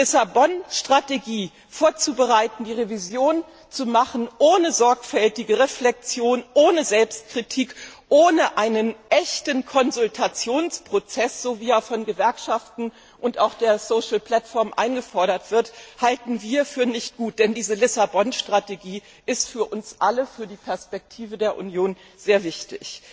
Die Lissabon Strategie vorzubereiten, die Revision ohne sorgfältige Reflexion, ohne Selbstkritik, ohne einen echten Konsultationsprozess wie er von Gewerkschaften und auch der Social Platform eingefordert wird vorzunehmen, halten wir für nicht gut, denn diese Lissabon Strategie ist für uns alle, für die Perspektive der Union sehr wichtig.